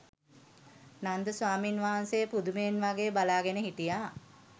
නන්ද ස්වාමීන් වහන්සේ පුදුමයෙන් වගේ බලාගෙන හිටියා.